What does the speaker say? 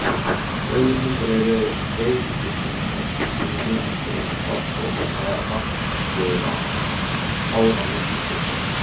Rauðir hundar eru veirusjúkdómur sem gengur sem farsótt með nokkurra ára millibili.